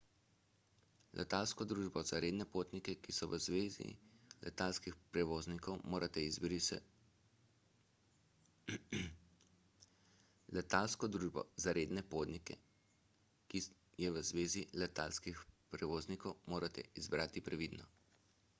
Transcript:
letalsko družbo za redne potnike ki je v zvezi letalskih prevoznikov morate izbrati previdno